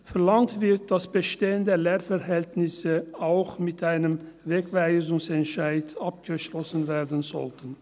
Verlangt wird, dass bestehende Lehrverhältnisse auch mit einem Wegweisungsentscheid abgeschlossen werden sollten.